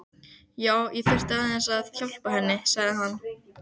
Já, ég þurfti aðeins að. hjálpa henni, sagði hann.